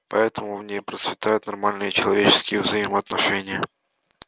поэтому в ней процветают нормальные человеческие взаимоотношения